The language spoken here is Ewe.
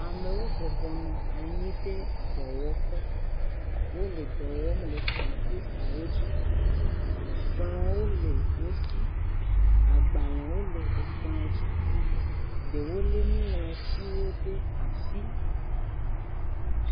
Ame bɔbɔnɔ anyi ɖe dɔwɔƒe. Wole dɔwɔm le kɔmpitawo dzi. Kplɔ wole wosi, agbalẽwo le ekplɔ dzi. Ɖewo le nuŋlɔtiwɔ ɖe asi.